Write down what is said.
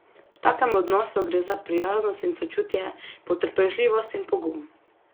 V takem odnosu gre za prijaznost in sočutje, potrpežljivost in pogum.